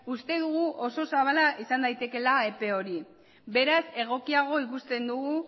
uste dugu oso zabala izan daitekeela epe hori beraz egokiago ikusten dugu